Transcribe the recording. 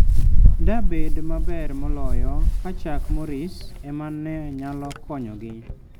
Dabed maber moloyo ka Chuck Norris ema ne nyalo konyogi.